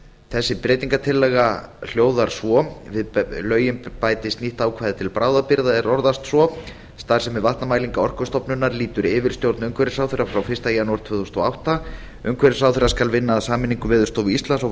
þessi breytingartillaga hljóðar svo við lögin bætist nýtt ákvæði til bráðabirgða er orðast svo starfsemi vatnamælinga orkustofnunar lýtur yfirstjórn umhverfisráðherra frá fyrsta janúar tvö þúsund og átta umhverfisráðherra skal vinna að sameiningu veðurstofu íslands og